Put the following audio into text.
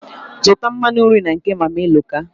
Zụta mmanụ nri na nke Mama Eloka.